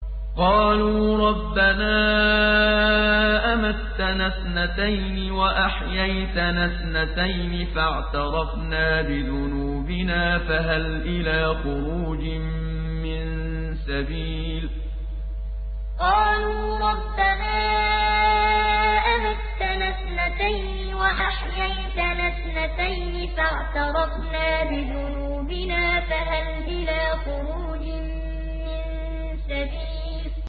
قَالُوا رَبَّنَا أَمَتَّنَا اثْنَتَيْنِ وَأَحْيَيْتَنَا اثْنَتَيْنِ فَاعْتَرَفْنَا بِذُنُوبِنَا فَهَلْ إِلَىٰ خُرُوجٍ مِّن سَبِيلٍ قَالُوا رَبَّنَا أَمَتَّنَا اثْنَتَيْنِ وَأَحْيَيْتَنَا اثْنَتَيْنِ فَاعْتَرَفْنَا بِذُنُوبِنَا فَهَلْ إِلَىٰ خُرُوجٍ مِّن سَبِيلٍ